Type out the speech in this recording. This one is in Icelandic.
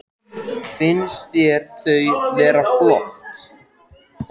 Jóhannes: Finnst þér þau vera flott?